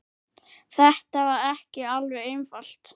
Þetta var ekki alveg einfalt